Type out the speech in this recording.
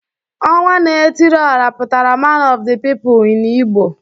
Onwa na etiri ora putara man of the people in Igbo